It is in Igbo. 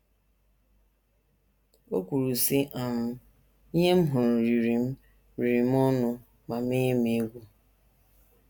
O kwuru, sị: um “ Ihe m hụrụ riri m riri m ọnụ ma menye m egwu.